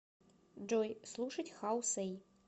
джой слушать хау сэй